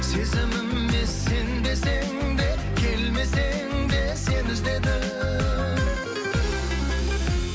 сезіміме сенбесең де келмесең де сені іздедім